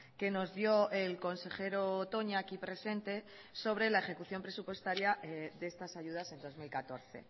que nos dio el consejero toña aquí presente sobre la ejecución presupuestaria de estas ayudas en dos mil catorce